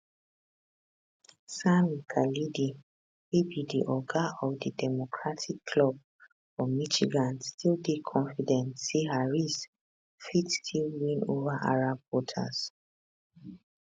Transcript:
sami khalidi wey be di oga of di democratic club for michigan still dey confident say harris fit still win ova arab voters